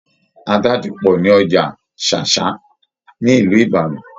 Ata ti pọ̀ ní Ọjà Ṣáṣá ní Ìlú Ìbàdàn.